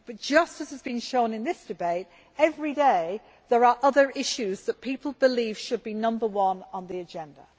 Just as has been shown in this debate, every day there are other issues that people believe should be number one on the agenda.